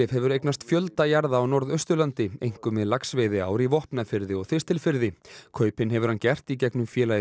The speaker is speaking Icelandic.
hefur eignast fjölda jarða á Norðausturlandi einkum við laxveiðiár í Vopnafirði og Þistilfirði kaupin hefur hann gert í gegnum félagið